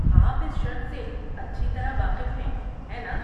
آپ اس شرط سے اچھی طرح واقف ہیں، ہیں ناں؟